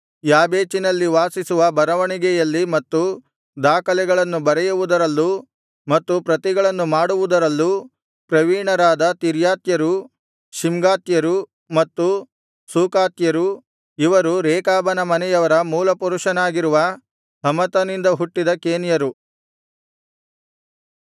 ಯಾಬೇಚಿನಲ್ಲಿ ವಾಸಿಸುವ ಬರವಣಿಗೆಯಲ್ಲಿ ಮತ್ತು ದಾಖಲೆಗಳನ್ನು ಬರೆಯುವುದರಲ್ಲೂ ಮತ್ತು ಪ್ರತಿಗಳನ್ನು ಮಾಡುವುದರಲ್ಲೂ ಪ್ರವೀಣರಾದ ತಿರ್ರಾತ್ಯರು ಶಿಮ್ಗಾತ್ಯರು ಮತ್ತು ಸೂಕಾತ್ಯರು ಇವರು ರೇಕಾಬನ ಮನೆಯವರ ಮೂಲ ಪುರುಷನಾಗಿರುವ ಹಮತನಿಂದ ಹುಟ್ಟಿದ ಕೇನ್ಯರು